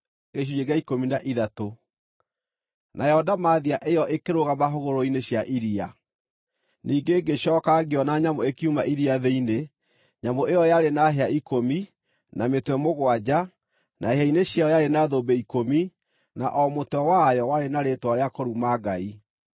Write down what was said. Nayo ndamathia ĩyo ĩkĩrũgama hũgũrũrũ-inĩ cia iria. Nyamũ kuuma Iria rĩrĩa Inene Ningĩ ngĩcooka ngĩona nyamũ ĩkiuma iria thĩinĩ. Nyamũ ĩyo yarĩ na hĩa ikũmi, na mĩtwe mũgwanja, na hĩa-inĩ ciayo yarĩ na thũmbĩ ikũmi, na o mũtwe wayo warĩ na rĩĩtwa rĩa kũruma Ngai.